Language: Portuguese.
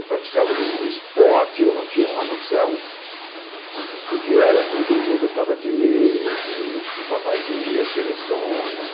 Eu praticava o esporte, eu não tinha uma noção do que era tudo, eu gos gostava de ler os que o papai lia, seleções.